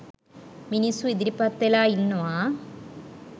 මිනිස්‌සු ඉදිරිපත් වෙලා ඉන්නවා.